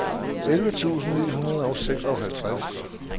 elleve tusind ni hundrede og seksoghalvtreds